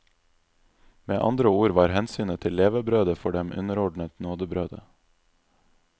Med andre ord var hensynet til levebrødet for dem underordnet nådebrødet.